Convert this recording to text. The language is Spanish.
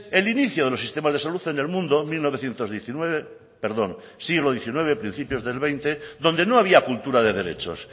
el inicio de los sistemas de salud en el mundo siglo diecinueve principios del veinte donde no había cultura de derechos